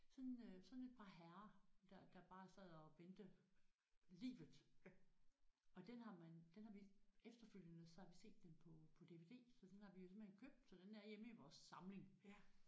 Sådan øh sådan et par herrer der der bare sad og vendte livet og den har man den har vi efterfølgende så har vi set den på på DVD så den har vi simpelthen købt så den er hjemme i vores samling